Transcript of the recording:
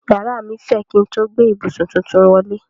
Yàrá mí fẹ̀ kín n tó gbé ìbùsùn tuntun wọlé.